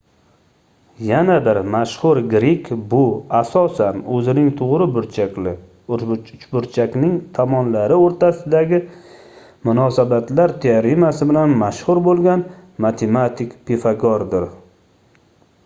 yana bir mashhur grek bu asosan oʻzining toʻgʻri burchakli uchburchakning tomonlari oʻrtasidagi munosabatlar teoremasi bilan mashhur boʻlgan matematik pifagordir